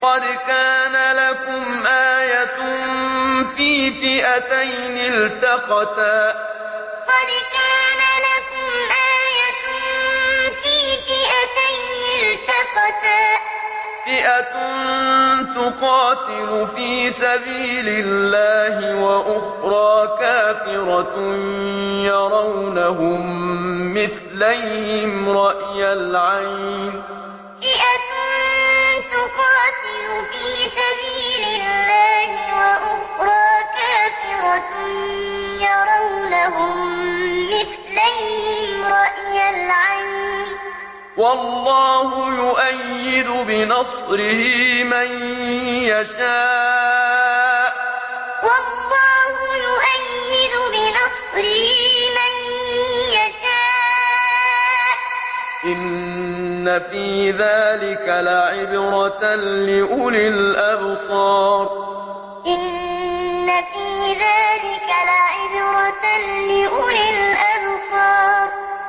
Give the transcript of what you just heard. قَدْ كَانَ لَكُمْ آيَةٌ فِي فِئَتَيْنِ الْتَقَتَا ۖ فِئَةٌ تُقَاتِلُ فِي سَبِيلِ اللَّهِ وَأُخْرَىٰ كَافِرَةٌ يَرَوْنَهُم مِّثْلَيْهِمْ رَأْيَ الْعَيْنِ ۚ وَاللَّهُ يُؤَيِّدُ بِنَصْرِهِ مَن يَشَاءُ ۗ إِنَّ فِي ذَٰلِكَ لَعِبْرَةً لِّأُولِي الْأَبْصَارِ قَدْ كَانَ لَكُمْ آيَةٌ فِي فِئَتَيْنِ الْتَقَتَا ۖ فِئَةٌ تُقَاتِلُ فِي سَبِيلِ اللَّهِ وَأُخْرَىٰ كَافِرَةٌ يَرَوْنَهُم مِّثْلَيْهِمْ رَأْيَ الْعَيْنِ ۚ وَاللَّهُ يُؤَيِّدُ بِنَصْرِهِ مَن يَشَاءُ ۗ إِنَّ فِي ذَٰلِكَ لَعِبْرَةً لِّأُولِي الْأَبْصَارِ